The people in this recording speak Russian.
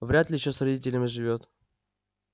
вряд ли ещё с родителями живёт